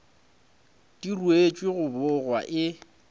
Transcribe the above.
di ruetšwe go bogwa e